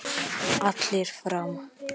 Allir fram!